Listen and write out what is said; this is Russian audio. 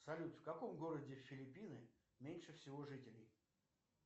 салют в каком городе филиппины меньше всего жителей